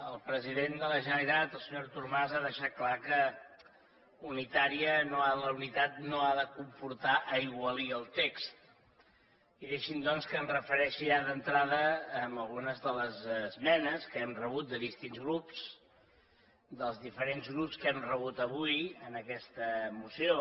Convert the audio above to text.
el president de la generalitat el senyor artur mas ha deixat clar que la unitat no ha de comportar aigualir el text i deixin me doncs que em refereixi ja d’entrada a algunes de les esmenes que hem rebut de distints grups dels diferents grups que hem rebut avui en aquesta moció